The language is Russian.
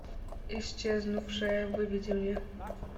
исчезнувшая выведи мне